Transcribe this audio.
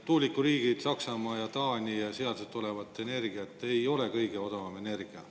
Tuulikuriigid Saksamaa ja Taani ja ei ole kõige odavam energia.